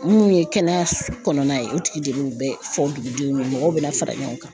Minnu ye kɛnɛya kɔnɔna ye o tigi de bɛ fɔ dugudenw ye mɔgɔw bɛna fara ɲɔgɔn kan.